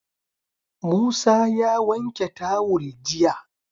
Musa ya wanke tawul jiya